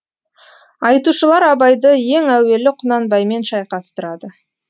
айтушылар абайды ең әуелі құнанбаймен шайқастырады